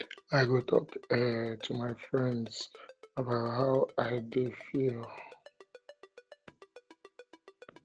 i go talk um to my friends about how um i um dey feel